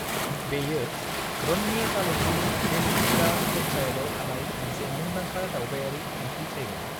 बेयो रन्नी तालुकनि वेचूचिरा पन्चायतआव थानाय मोनसे मुंदांखा दावबायारि थांखि जायगा।